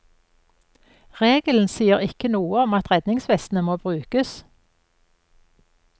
Regelen sier ikke noe om at redningsvestene må brukes.